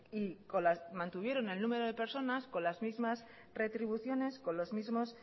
y mantuvieron el número de personas con las mismas retribuciones con los mismos